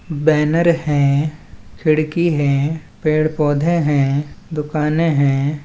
Banner है खिड़की है पेड़ पौधे हैं दुकाने हैं।